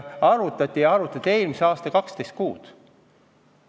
Arvutati jaanuarikuus eelmise aasta 12 kuu põhjal.